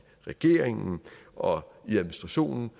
regeringen og i administrationen